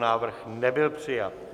Návrh nebyl přijat.